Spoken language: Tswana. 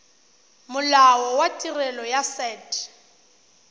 molao wa tirelo ya set